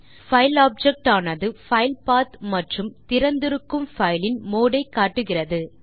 file objectஆனது file path மற்றும் திறந்திருக்கும் பைல் இன் மோடு ஐயும் காட்டுகிறது